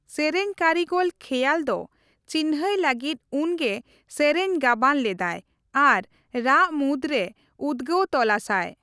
ᱥᱮᱨᱮᱧ ᱠᱟᱹᱨᱤᱜᱚᱞ ᱠᱷᱮᱭᱟᱞ ᱫᱚ ᱪᱤᱱᱦᱟᱹᱭ ᱞᱟᱹᱜᱤᱫ ᱩᱱᱜᱮ ᱥᱮᱨᱮᱧ ᱜᱟᱵᱟᱱ ᱞᱮᱫᱟᱭ ᱟᱨ ᱨᱟᱜᱽ ᱢᱩᱫᱽ ᱨᱮ ᱩᱫᱜᱟᱹᱣ ᱛᱚᱞᱟᱥᱟᱭ ᱾